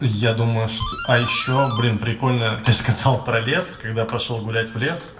я думаю что а ещё блин прикольно ты сказал про лес когда пошёл гулять в лес